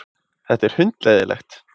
Þetta er hundleiðinlegt.